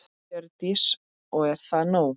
Hjördís: Og er það nóg?